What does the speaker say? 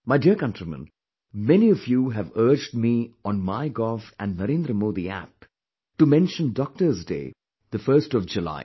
My dear countrymen, many of you have urged me on My gov and Narendra Modi app to mention Doctor's Day, the 1st of July